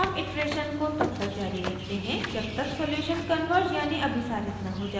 हम इटरेशन को तब तक जारी रखते हैं जब तक सॉल्युशन कन्वर्ज यानि अभिसारित न हो जाये